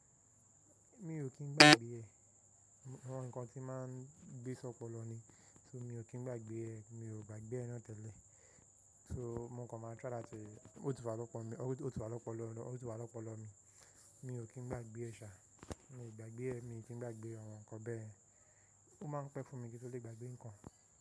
Mi ò kín gba gbé ẹ, ọawọn ǹkan tí máa ń gbé ṣópolọ ni, so mi ò kín gba gbé ẹ, mi ò gba gbé ẹ náà tẹ́lẹ̀. So mo kan máa try láti, ó ti wá lọ́pọ̀ mi, ó ti wá lọ́pọlọ mi, mi ò kín gba gbé ẹ ṣà, mi ò gba gbé ẹ, mi ò kín gba gbé àwọn ǹkan bẹ́ẹ̀. Ó máa ń pẹ́ fún mi kí n tó lè gba gbé ǹkan.